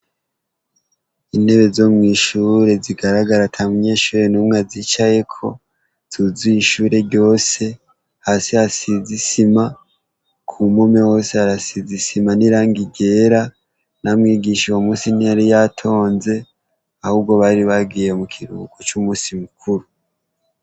Intebe zo mw'ishure zigaragara ata munyeshure n'umwe azicayeko zuzuye ishure ryose, hasi hasize isima ku mpome hose harasize isima n'irangi ryera na mwigisha uwo musi ntiyari yatonze, ahubwo bari bagiye mu kiruhuko c'umusi mukuru.